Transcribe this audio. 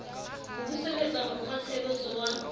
ho buseletsa mo kgwatshebetso wa